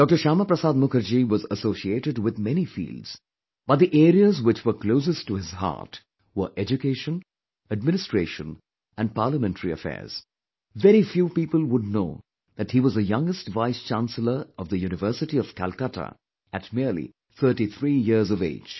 Shyama Prasad Mukherjee was associated with many fields, but the areas which were closest to his heart were education, administration and parliamentary affairs, very few people would know that he was the youngest vicechancellor of the University of Calcutta at merely 33 years of age